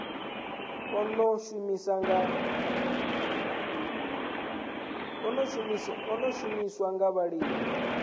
a ḓo shumiswa nga vhalimi